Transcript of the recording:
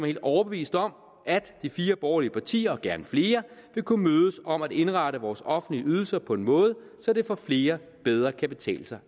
helt overbevist om at de fire borgerlige partier og gerne flere vil kunne mødes om at indrette vores offentlige ydelser på en måde så det for flere bedre kan betale sig